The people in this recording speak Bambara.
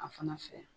A fana fɛ